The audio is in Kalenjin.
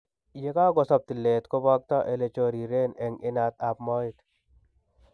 Yekakosob tileet koboktoo elechoriren eng' inat ab mooet